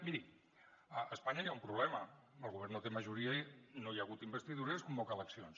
miri a espanya hi ha un problema el govern no té majoria no hi ha hagut investidura i es convoquen eleccions